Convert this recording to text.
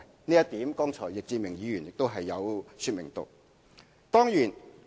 這一點剛才易志明議員亦有說明。